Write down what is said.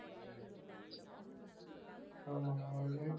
ஆமாண்ணா